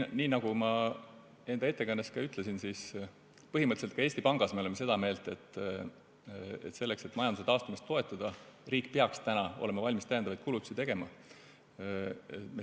Nii nagu ma ettekandes ütlesin, põhimõtteliselt ka Eesti Pangas me oleme seda meelt, et selleks, et majanduse taastumist toetada, peaks riik täna olema valmis täiendavaid kulutusi tegema.